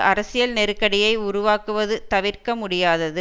அரசியல் நெருக்கடியை உருவாக்குவது தவிர்க்க முடியாதது